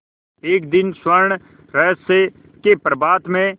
एक दिन स्वर्णरहस्य के प्रभात में